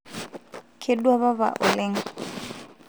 kedua papa oleng